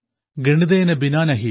ഗണിതേന ബിനാ നഹി